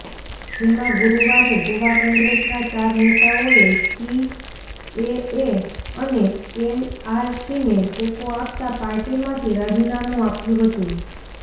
જેમાં ગુરુવારે ગોવા કોંગ્રેસના ચાર નેતાઓએ સીએએ અને એનઆરસીને ટેકો આપતા પાર્ટીમાંથી રાજીનામું આપ્યું હતું